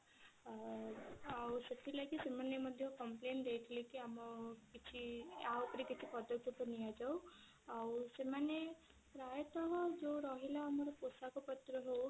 ଅ ଆଉ ସେଥି ଲାଗି ସେମାନେ ମଧ୍ୟ complain ଦେଇଥିଲେ କି ଆମ କିଛି ୟା ଉପରେ କିଛି ପଦକ୍ଷେପ ନିଆ ଯାଉ ଆଉ ସେମାନେ ପ୍ରାୟତଃ ଯଉ ରହିଲା ମର ପୋଷାକ ପତ୍ର ହଉ କି